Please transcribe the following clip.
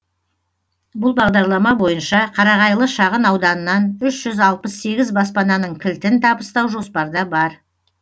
бұл бағдарлама бойынша қарағайлы шағын ауданынан үш жүз алпыс сегіз баспананың кілтін табыстау жоспарда бар